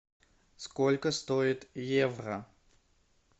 сколько стоит евро